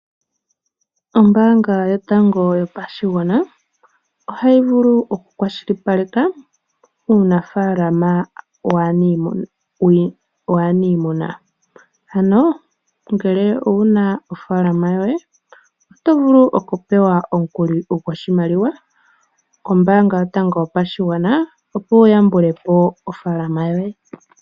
Ombanga yotango yopashigwana ohayi vulu oku kwashilipaleka umunafalama waanimuna. Ano ngele owuna ofalama yoye oto vulu oku pewa omukuli goshimaliwa kombanga yotango yopashigwana opo wu yambulepo ofalama yoye.